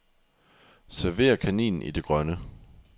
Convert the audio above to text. Server kaninen i det grønne.